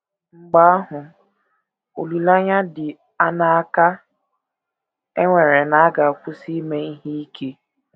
Mgbe ahụ, olileanya dị aṅaa ka e nwere na a ga - akwụsị ime ihe ike?